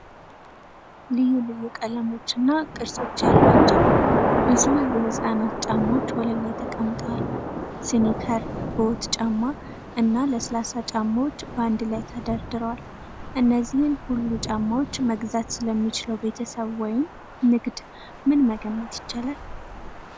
ልዩ ልዩ ቀለሞች እና ቅርጾች ያሏቸው ብዙ የህጻናት ጫማዎች ወለል ላይ ተቀምጠዋል። ስኒከር፣ ቦት ጫማ፣ እና ለስላሳ ጫማዎች በአንድ ላይ ተደርድረዋል። እነዚህን ሁሉ ጫማዎች መግዛት ስለሚችለው ቤተሰብ ወይም ንግድ ምን መገመት ይቻላል?